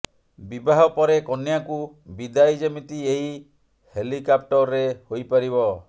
ବିବାହ ପରେ କନ୍ୟାକୁ ବିଦାୟି ଯେମିତି ଏହି ହେଲିକାପ୍ଟରରେ ହୋଇପାରିବ